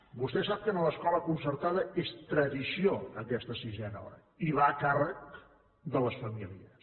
vostè sap que en l’escola concertada és tradició aquesta sisena hora i va a càrrec de les famílies